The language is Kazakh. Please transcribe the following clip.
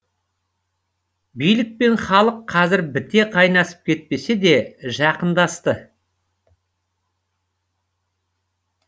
билік пен халық қазір біте қайнасып кетпесе де жақындасты